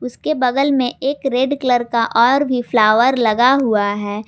उसके बगल में एक रेड कलर का और फ्लावर लगा हुआ है।